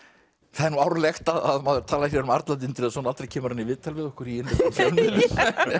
það er árlegt að maður talar hér um Arnald Indriðason aldrei kemur hann í viðtal við okkur í fjölmiðlum